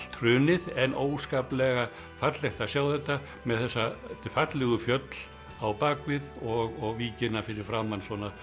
hrunið en óskaplega fallegt að sjá þetta með þessi fallegu fjöll á bak við og víkina fyrir framan